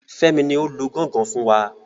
Fẹ́mi ni o lu gangan fún wa.